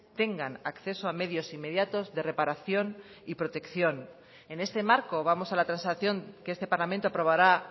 tengan acceso a medios inmediatos de reparación y protección en este marco vamos a la transacción que este parlamento aprobará